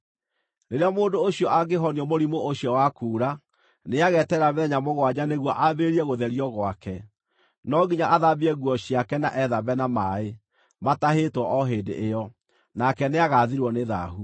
“ ‘Rĩrĩa mũndũ ũcio angĩhonio mũrimũ ũcio wa kuura, nĩageterera mĩthenya mũgwanja nĩguo ambĩrĩrie gũtherio gwake; no nginya athambie nguo ciake na ethambe na maaĩ, matahĩtwo o hĩndĩ ĩyo, nake nĩagathirwo nĩ thaahu.